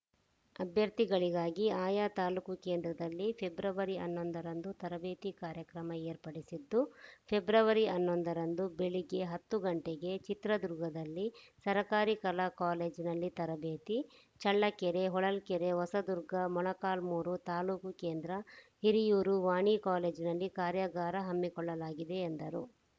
ಅಭ್ಯರ್ಥಿಗಳಿಗಾಗಿ ಆಯಾ ತಾಲೂಕು ಕೇಂದ್ರದಲ್ಲಿ ಫೆಬ್ರವರಿ ಹನ್ನೊಂದರಂದು ತರಬೇತಿ ಕಾರ್ಯಾಗಾರ ಏರ್ಪಡಿಸಿದ್ದು ಫೆಬ್ರವರಿ ಹನ್ನೊಂದರಂದು ಬೆಳಗ್ಗೆ ಹತ್ತು ಗಂಟೆಗೆ ಚಿತ್ರದುರ್ಗದಲ್ಲಿ ಸರಕಾರಿ ಕಲಾ ಕಾಲೇಜಿನಲ್ಲಿ ತರಬೇತಿ ಚಳ್ಳಕೆರೆ ಹೊಳಲ್ಕೆರೆ ಹೊಸದುರ್ಗ ಮೊಳಕಾಲ್ಮೂರು ತಾಲೂಕು ಕೇಂದ್ರ ಹಿರಿಯೂರು ವಾಣಿ ಕಾಲೇಜಿನಲ್ಲಿ ಕಾರ್ಯಾಗಾರ ಹಮ್ಮಿಕೊಳ್ಳಲಾಗಿದೆ ಎಂದರು